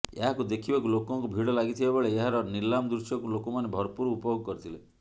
ଏହାକୁ ଦେଖିବାକୁ ଲୋକଙ୍କ ଭିଡ ଲାଗିଥିବା ବେଳେ ଏହାର ନିଲାମ ଦୃଶ୍ୟକୁ ଲୋକମାନେ ଭରପୁର ଉପଭୋଗ କରିଥିଲେ